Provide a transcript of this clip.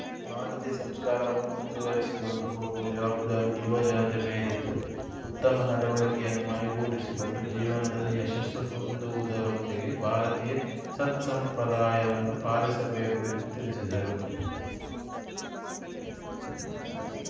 ಭಾರತೀಯ ಸಂಸ್ಕಾರವನ್ನು ಮುಂದುವರಿಸಿಕೊಂಡು ಹೋಗುವ ಜವಾಬ್ದಾರಿ ಯುವ ಜನತೆ ಮೇಲಿದ್ದು ಉತ್ತಮ ನಡವಳಿಕೆಯನ್ನು ಮೈಗೂಡಿಸಿಕೊಂಡು ಜೀವನದಲ್ಲಿ ಯಶಸ್ಸು ಹೊಂದುವುದರೊಂದಿಗೆ ಭಾರತೀಯ ಸತ್ಸಂಪ್ರದಾಯವನ್ನು ಪಾಲಿಸಬೇಕು ಎಂದು ತಿಳಿಸಿದರು